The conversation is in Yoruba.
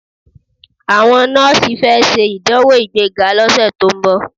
Àwọn nọ́ọ̀sì fẹ́ ṣe ìdánwò ìgbéga lọ́sẹ̀ tó ń bọ̀.